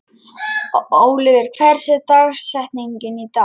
Oliver, hver er dagsetningin í dag?